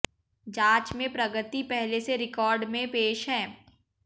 जांच में प्रगति पहले से रिकॉर्ड में पेश है